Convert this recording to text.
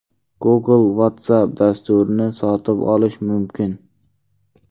Google Whatsapp dasturini sotib olishi mumkin.